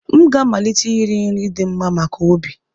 M ga-amalite iri nri ndị dị mma maka obi